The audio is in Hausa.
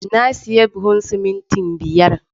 Na siya buhun simintin biyar